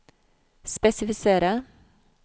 spesifisere